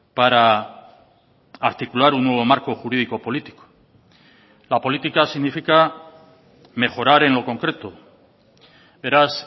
para articular un nuevo marco jurídico político la política significa mejorar en lo concreto beraz